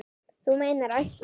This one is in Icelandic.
Þú meinar ætlar.